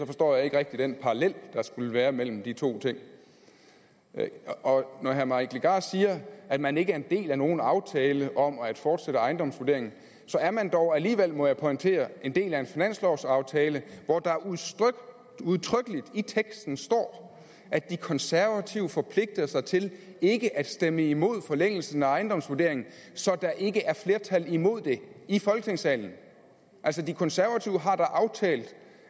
forstår jeg ikke rigtig den parallel der skulle være mellem de to ting når herre mike legarth siger at man ikke er en del af nogen aftale om at fortsætte ejendomsvurderingen så er man dog alligevel må jeg pointere en del af en finanslovsaftale hvor der udtrykkeligt i teksten står at de konservative forpligter sig til ikke at stemme imod forlængelsen af ejendomsvurderingen så der ikke er flertal imod det i folketingssalen altså de konservative har da aftalt